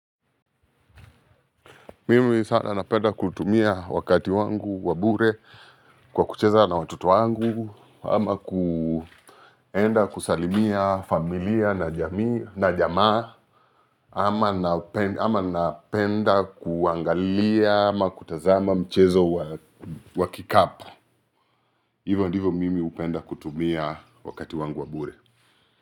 Mimi sasa napenda kutumia wakati wangu wa bure kwa kucheza na watoto wangu, ama kuenda kusalimia familia na jamii na jamaa ama napenda kuangalia ama kutazama mchezo wa kikapu hivo ndivo mimi hupenda kutumia wakati wangu wa bure.